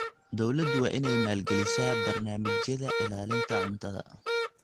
Dawladdu waa inay maalgelisaa barnaamijyada ilaalinta cuntada.